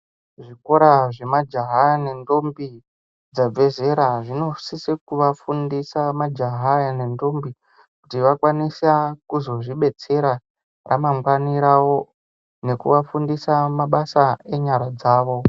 Zvikora zvemajaha nendombi dzabva zera ,dzinosise kuvafundisa majahaya nendombi ,kuti vakwanisa kuzozvibetsera ,ramangwani ravo, nekuvafundisa mabasa enyara dzavo.